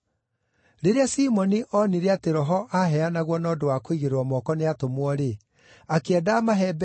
Rĩrĩa Simoni onire atĩ Roho aaheanagwo na ũndũ wa kũigĩrĩrwo moko nĩ atũmwo-rĩ, akĩenda amahe mbeeca,